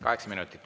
Kaheksa minutit.